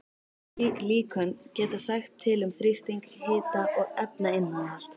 Slík líkön geta sagt til um þrýsting, hita og efnainnihald.